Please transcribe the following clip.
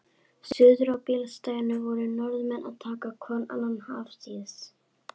Suður á bílastæðinu voru Norðmenn að taka hvorn annan afsíðis.